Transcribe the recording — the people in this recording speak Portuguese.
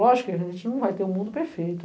Lógico que a gente não vai ter o mundo perfeito.